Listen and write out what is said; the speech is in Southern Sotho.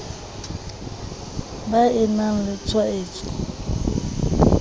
ba e na le tshwaetso